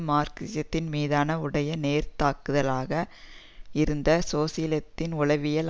மார்க்சிசத்தின் மீதான உடைய நேரடித்தாக்குதலாக இருந்த சோசியலித்தின் உளவியல்